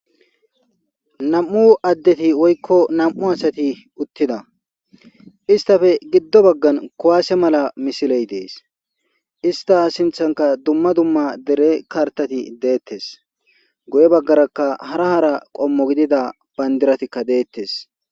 nam7u addeti woykko nam7u asati uttida istafe giddo baggan kuwaase mala misiley dees ista sinthanka dumma dumma dere kartati deettes goye baggarakka hara hara qommo gidida bandiratikka deettes